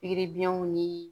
Pikiri biɲɛw ni